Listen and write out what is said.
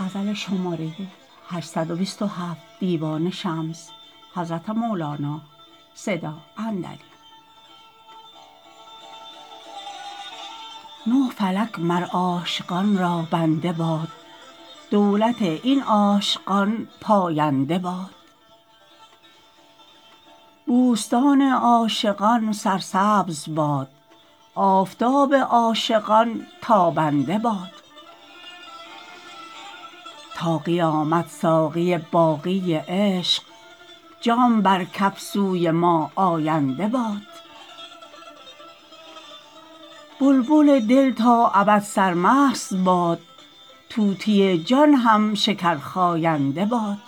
نه فلک مر عاشقان را بنده باد دولت این عاشقان پاینده باد بوستان عاشقان سرسبز باد آفتاب عاشقان تابنده باد تا قیامت ساقی باقی عشق جام بر کف سوی ما آینده باد بلبل دل تا ابد سرمست باد طوطی جان هم شکرخاینده باد